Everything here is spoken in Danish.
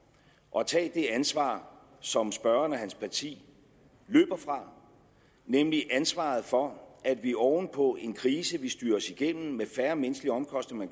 at tage det ansvar som spørgeren og hans parti løber fra nemlig ansvaret for at vi oven på en krise vi styrede os igennem med færre menneskelige omkostninger